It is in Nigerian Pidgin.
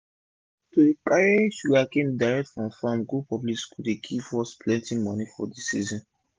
to dey carry sugarcane direct from farm go public school dey give us plenti moni for d season